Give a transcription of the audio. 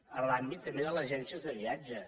en l’àmbit també de les agències de viatge